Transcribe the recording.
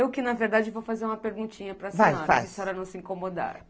Eu que, na verdade, vou fazer uma perguntinha para senhora, faz, faz se a senhora não se incomodar.